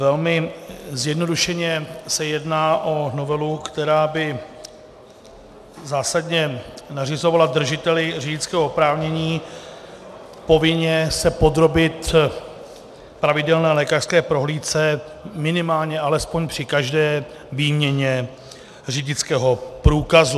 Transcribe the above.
Velmi zjednodušeně se jedná o novelu, která by zásadně nařizovala držiteli řidičského oprávnění povinně se podrobit pravidelné lékařské prohlídce minimálně alespoň při každé výměně řidičského průkazu.